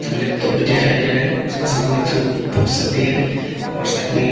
laptop भी दिखाई दे रहा है उसका सामने में बुक भी है और साइड में--